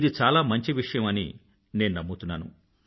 ఇది చాలా మంచి విషయం అని నేను నమ్ముతున్నాను